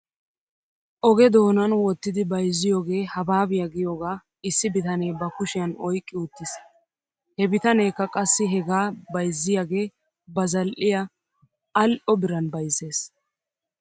Oge doonan wottidi bayzziyoogee habaabiyaa giyoogaa issi bitanee ba kushiyan oyqqi uttis. He bitaneekka qassi hegaa bayzziyaagee ba zal'iyaa al'o biran bayzzes.